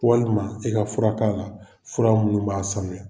i ka fura k'a la fura minnu b'a sanuya.